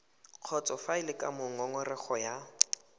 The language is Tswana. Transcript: kgotsofalele ka moo ngongorego ya